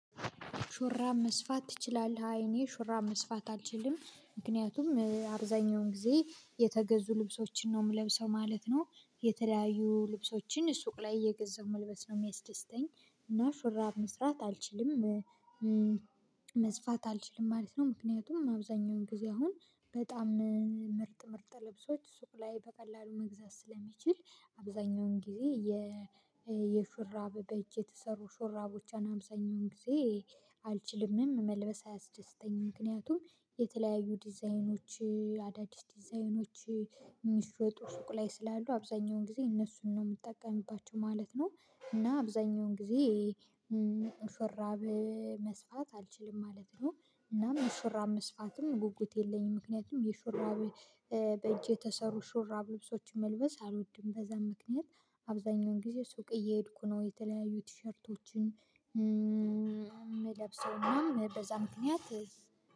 ሹራብ መስፋት ትችላለህ? አይ እኔ ሹራብ መስፋት አልችልም ምክንያቱም አብዛኛውን ጊዜ የተገዙ ልብሶችን ነው የምለብሰው ማለት ነው። የተለያዩ ልብሶችን ሱቅ ላይ እየገዛው መልበስ ነው የሚያስደስተኝ። እና ሹራብ መስራት አልችልም። መስፋት አልችልም ማለት ነው ምክንያቱም አብዛኛውን ጊዜ አሁን በጣም ምርጥ ምርጥ ልብሶች ሱቅ ላይ በቀላሉ መግዛት ስለሚችል። አብዛኛውን ጊዜ የሹራብ በእጅ የተሰሩ ሾራቦቹን አብዛኛውን ጊዜ አልችልምም መልበስ አያስደስተኝም። ምክንያቱም የተለያዩ ዲዛይኖች አዳዲስ ዲዛይኖች የሚሸጡ ሱቅ ላይ ስላሉ አብዛኛውን ጊዜ እነሱን ነው የምትጠቀሚባቸው ማለት ነው። እና አብዛኛውን ጊዜ ሹራብ መስፋት አልችልም ማለት ነው። እና ሹራብ መስፋትም ጉጉት የለኝም ምክንያቱም የሹራብ በእጅ የተሰሩ ሹራብ ልብሶችን መልበስ አልወድም። በዛም ምክንያት አብዛኛውን ጊዜ ሱቅ እየሄድኩ ነው የተለያዩ ቲሸርቶችን የምለብሰውና ምናምን በዛ ምክንያት